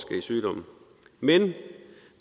betyder